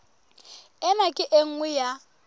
ena ke e nngwe ya